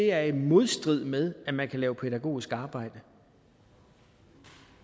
er i modstrid med at man kan lave pædagogisk arbejde